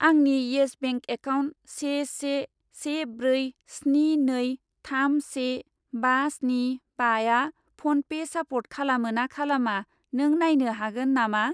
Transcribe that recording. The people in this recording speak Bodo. आंनि इयेस बेंक एकाउन्ट से से से ब्रै स्नि नै थाम से बा स्नि बाआ फ'नपे सापर्ट खालामो ना खालामा नों नायनो हागोन नामा?